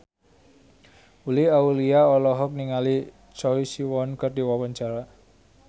Uli Auliani olohok ningali Choi Siwon keur diwawancara